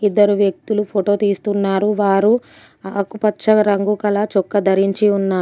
ఇద్దరు వ్యక్తులు ఫోటో తీస్తున్నారు. వారు ఆకుపచ్చ రంగు గల చొక్కా ధరించి ఉన్నారు.